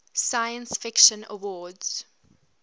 science fiction awards